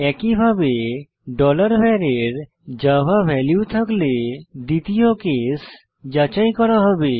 একইভাবে var এর জাভা ভ্যালু থাকলে দ্বিতীয় কেস যাচাই করা হবে